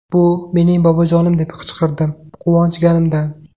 Bu mening bobojonim deb qichqirdim, quvonganimdan.